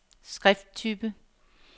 skrifttype